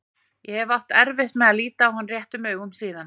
Ég hef átt erfitt með að líta hann réttum augum síðan.